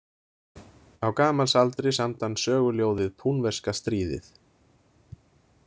Á gamals aldri samdi hann söguljóðið „Púnverska stríðið“.